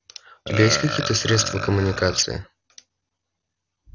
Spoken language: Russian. у тебя есть какие-то средства коммуникации